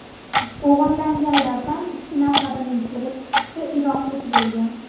O‘g‘irlanganlardan ikki nafarining kelib chiqishi iroqlik bo‘lgan.